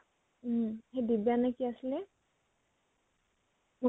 সেই বিদ্য়া নে কি আছিলে সেই